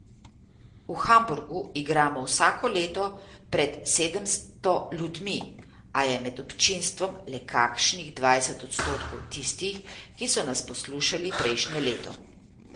V Hamburgu igramo vsako leto pred sedemsto ljudmi, a je med občinstvom le kakšnih dvajset odstotkov tistih, ki so nas poslušali prejšnje leto.